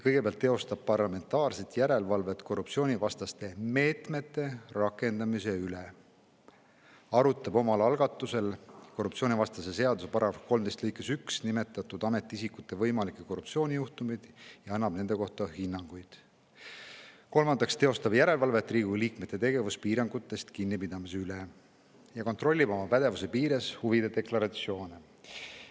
Komisjon teeb parlamentaarset järelevalvet korruptsioonivastaste meetmete rakendamise üle; arutab omal algatusel korruptsioonivastase seaduse § 13 lõikes 1 nimetatud ametiisikute võimalikke korruptsioonijuhtumeid ja annab nende kohta hinnanguid; teeb järelevalvet Riigikogu liikmete tegevuspiirangutest kinnipidamise üle ning kontrollib oma pädevuse piires huvide deklaratsioone.